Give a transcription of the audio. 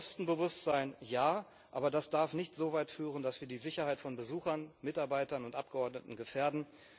Kostenbewusstsein Ja, aber das darf nicht so weit führen, dass wir die Sicherheit von Besuchern, Mitarbeitern und Abgeordneten gefährden.